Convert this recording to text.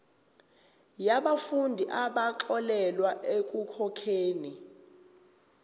yabafundi abaxolelwa ekukhokheni